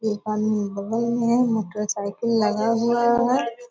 एक आदमी बगल में मोटरसाइकिल लगा हुआ है ।